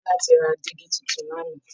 Biola ti ra dígí tuntun lánàá